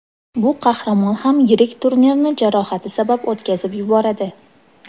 Bu qahramon ham yirik turnirni jarohati sabab o‘tkazib yuboradi.